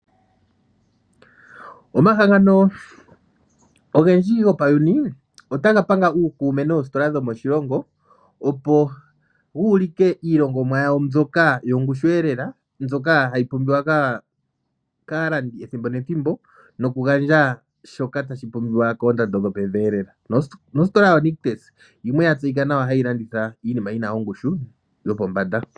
Omahangano ogendji gopayuni otaga panga uukume noositola dhomoshilongo, opo uulike iilongomwa yawo mbyoka yongushweelela mbyoka hayi pumbiwa kaalandi ethimbo nethimbo, noku gandja shoka tashi pumbiwa koondando dhili pevi lela, noosikola yoNictus oya tseyika nawa hayi landitha iinima.